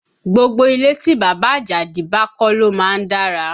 Gbogbo ilé tí bàbá Àjàdí bá kọ́ ló má ń dára